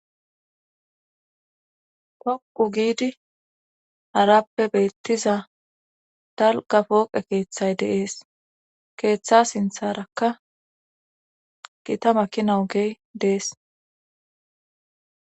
Dhoqu giidi harappe beettiza dalga pooqe keeththay deees keeththa sintharakka gita makinaogey dees.